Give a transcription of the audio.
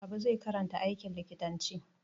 Habu zai karanta aikin likitanci.